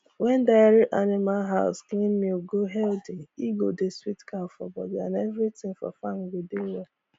wen dairy animal house clean milk go healthy e go dey sweet cow for body and everything for farm go de well